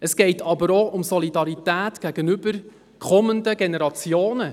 Es geht jedoch auch um die Solidarität gegenüber den kommenden Generationen.